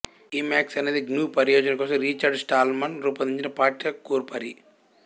Emacs అనేది GNU పరియోజన కోసం రిచర్డ్ స్టాల్మన్ రూపొందించిన పాఠ్య కూర్పరి